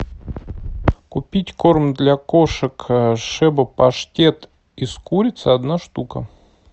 купить корм для кошек шеба паштет из курицы одна штука